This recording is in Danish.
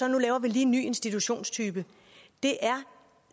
nu laver vi en ny institutionstype det er